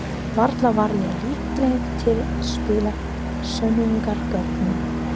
Varla var ég líkleg til að spilla sönnunargögnum.